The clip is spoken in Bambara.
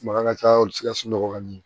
Makan ka ca olu sikasɔ ka ɲɛ